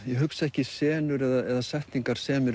ég hugsa ekki senur eða setningar sem